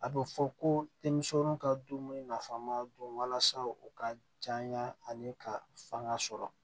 A bɛ fɔ ko denmisɛnniw ka dumuni nafama don walasa u ka janya ani ka fanga sɔrɔ